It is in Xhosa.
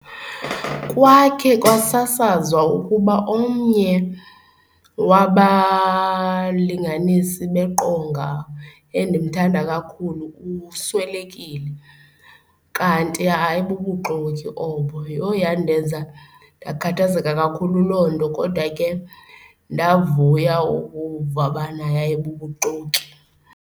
Kwakhe kwasasazwa ukuba omnye wabalinganisi beqonga endimthanda kakhulu uswelekile kanti hayi bubuxoki obo. Yho, yandenza ndakhathazeka kakhulu loo nto kodwa ke ndavuya ukuva ubana yayibubuxoki.